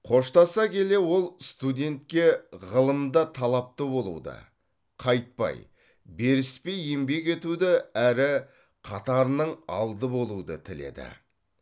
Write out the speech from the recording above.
қоштаса келе ол студентке ғылымда талапты болуды қайтпай беріспей еңбек етуді әрі қатарының алды болуды тіледі